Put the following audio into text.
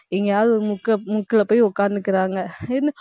எங்கயாவது ஒரு முக்கு~ முக்குல போய் உட்கார்ந்துக்கிறாங்க